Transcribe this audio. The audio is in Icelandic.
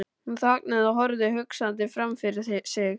Hún þagnaði og horfði hugsandi framfyrir sig.